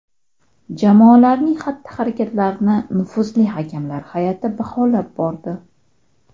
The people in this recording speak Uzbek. Jamolarning xatti-harakatlarini nufuzli hakamlar hay’ati baholab bordi.